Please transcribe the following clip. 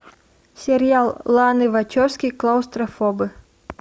сериал ланы вачовски клаустрофобы